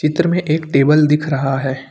चित्र में एक टेबल दिख रहा है।